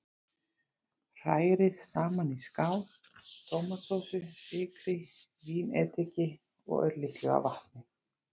Hrærið saman í skál tómatsósu, sykri, vínediki og örlitlu af vatni.